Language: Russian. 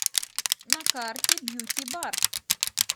на карте бьюти бар